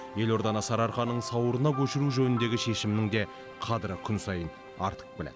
елорданы сарыарқаның сауырына көшіру жөніндегі шешімнің де қадірі күн сайын артып келеді